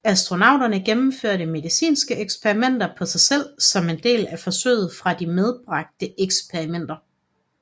Astronauterne gennemførte medicinske eksperimenter på sig selv som en del af forsøg fra de medbragte eksperimenter